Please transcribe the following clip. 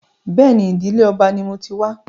Bẹ́ẹ̀ni, ìdìlé ọba ni mo ti wá